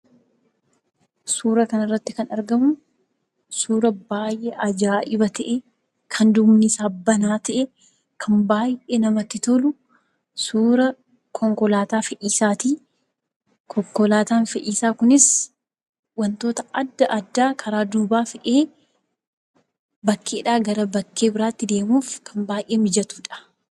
Suura kanarratti kan argamu, suura baay'ee ajaa'iba ta'e! Kan duubnisaa banaa ta'e, kan baay'ee namatti tolu! Suura konkolaataa fe'isaati. Konkolaataan fe'isaa kunis wantoota adda addaa karaa duubaa fe'ee bakkeedhaa gara bakkee biraatti deemuuf, kan baay'ee mijatuudha.